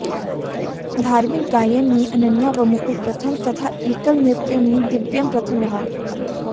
धार्मिक गायन में अनन्या व मुकुल प्रथम तथा एकल नृत्य में दिव्यम प्रथम रहा